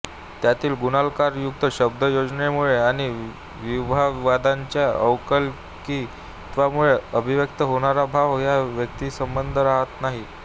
त्यातील गुणालंकारयुक्त शब्दयोजनेमुळे आणि विभावादींच्या अलौकिकत्वामुळे अभिव्यक्त होणारा भाव हा व्यक्तीसंबद्ध राहत नाही